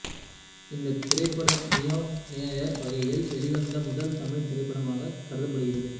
இந்த திரைப்படம் neo noir வகையில் வெளிவந்த முதல் தமிழ் திரைப்படமாக கருதப்படுகிறது